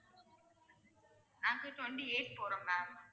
நாங்க twenty eight போறோம் ma'am